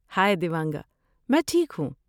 ہائے دیوانگا! میں ٹھیک ہوں۔